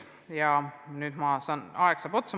Ja nüüd saab aeg otsa.